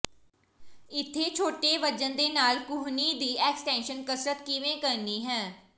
ਇੱਥੇ ਛੋਟੇ ਵਜ਼ਨ ਦੇ ਨਾਲ ਕੂਹਣੀ ਦੀ ਐਕਸਟੈਂਸ਼ਨ ਕਸਰਤ ਕਿਵੇਂ ਕਰਨੀ ਹੈ